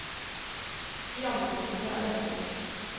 I andre kommuner er dette gjort.